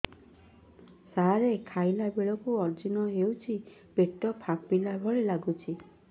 ସାର ଖାଇଲା ବେଳକୁ ଅଜିର୍ଣ ହେଉଛି ପେଟ ଫାମ୍ପିଲା ଭଳି ଲଗୁଛି